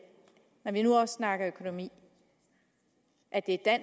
når vi nu også snakker økonomi at det er